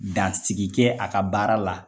Dan sigi kɛ a ka baara la.